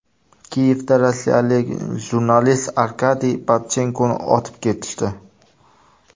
Kiyevda rossiyalik jurnalist Arkadiy Babchenkoni otib ketishdi .